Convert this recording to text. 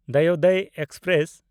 ᱫᱚᱭᱳᱫᱚᱭ express